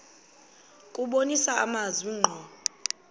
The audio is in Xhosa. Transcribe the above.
kubonisa amazwi ngqo